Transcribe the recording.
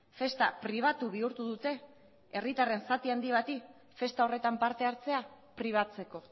festa pribatu bihurtu dute herritarren zati handi bati festa horretan parte hartzea pribatzeko